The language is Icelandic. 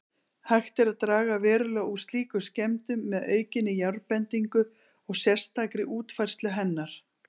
Hægt er að draga verulega úr slíkum skemmdum með aukinni járnbendingu og sérstakri útfærslu hennar.